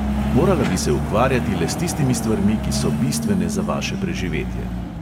Morala bi se ukvarjati le s tistimi stvarmi, ki so bistvene za vaše preživetje.